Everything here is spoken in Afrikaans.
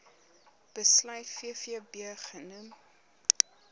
besluit vvb genoem